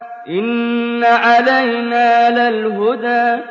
إِنَّ عَلَيْنَا لَلْهُدَىٰ